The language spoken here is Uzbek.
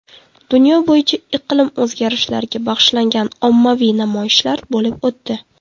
Dunyo bo‘yicha iqlim o‘zgarishlariga bag‘ishlangan ommaviy namoyishlar bo‘lib o‘tdi.